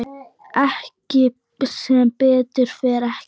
Nei, sem betur fer ekki.